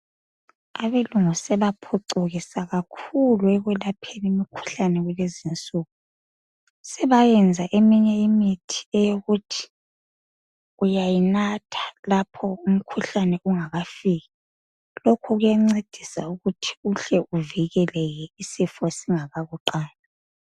Abelungu sebaphucukisa kakhulu ,ekwelapheni imikhuhlane kulezinsuku. Sebayenza eminye imithi eyokuthi uyayinatha lapho umikhuhlane ungakafiki. Lokhu kuyancedisa ukuthi uhle uvikeleke isifo singakakuqali.